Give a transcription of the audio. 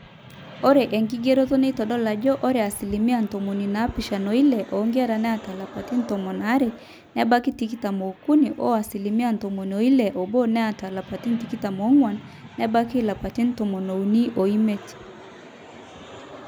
ore enkigeroto neitodolu ajo ore asilimia ntomoni naapishana oile oonkera naata lapaitin tomon aare nebaiki tikitam ookuni o asilimia ntomoni ile oobo neeta ilapaitin tikitam oong'wan nebaiki ilapaitin tomoniuni oimiet